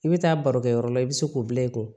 I bɛ taa baro kɛ yɔrɔ la i bɛ se k'o bila i kun